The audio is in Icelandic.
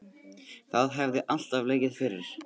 Það hefði alltaf legið fyrir